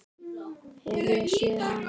Hef ég séð hann?